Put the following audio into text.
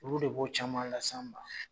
Olu de b'o caman las'an ma.